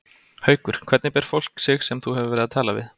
Haukur: Hvernig ber fólk sig sem þú hefur verið að tala við?